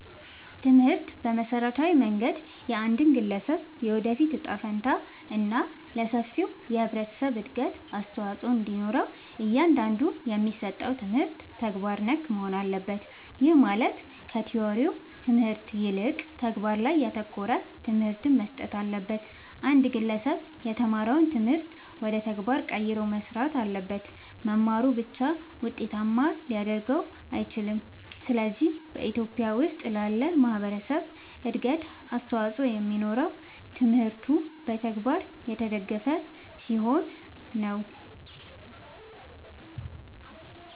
ትምህርት በመሠረታዊ መንገድ የአንድን ግለሠብ የወደፊት እጣ ፈንታ እና ለሠፊው የህብረተሠብ እድገት አስተዋፅኦ እንዲኖረው እያንዳንዱ የሚሠጠው ትምህርት ተግባር ነክ መሆን አለበት። ይህም ማለት ከቲወሪው ትምህርት ይልቅ ተግባር ላይ ያተኮረ ትምህርት መሠጠት አለበት። አንድ ግለሠብ የተማረውን ትምህርት ወደ ተግባር ቀይሮ መሥራት አለበት። መማሩ ብቻ ውጤታማ ሊያደርገው አይችልም። ስለዚህ በኢትዮጲያ ውስጥ ላለ ማህበረሠብ እድገት አስተዋፅኦ የሚኖረው ትምህርቱ በተግባር የተደገፈ ሲሆን ነው።